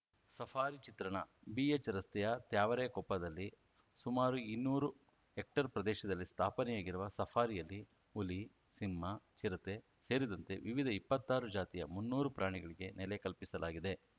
safari ಚಿತ್ರಣ ಬಿಎಚ್‌ರಸ್ತೆಯ ತ್ಯಾವರೆಕೊಪ್ಪದಲ್ಲಿ ಸುಮಾರು ಇನ್ನೂರು ಹೆಕ್ಟೇರ್‌ ಪ್ರದೇಶದಲ್ಲಿ ಸ್ಥಾಪನೆಯಾಗಿರುವ ಸಫಾರಿಯಲ್ಲಿ ಹುಲಿ ಸಿಂಹ ಚಿರತೆ ಸೇರಿದಂತೆ ವಿವಿಧ ಇಪ್ಪತ್ತಾರು ಜಾತಿಯ ಮುನ್ನೂರು ಪ್ರಾಣಿಗಳಿಗೆ ನೆಲೆ ಕಲ್ಪಿಸಲಾಗಿದೆ